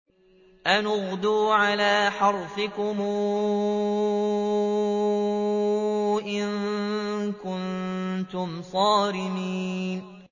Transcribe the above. أَنِ اغْدُوا عَلَىٰ حَرْثِكُمْ إِن كُنتُمْ صَارِمِينَ